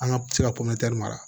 An ka se ka mara